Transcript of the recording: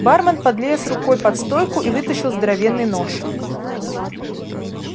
бармен подлез рукой под стойку и вытащил здоровенный нож